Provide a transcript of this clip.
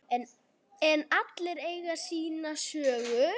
En allir eiga sína sögu.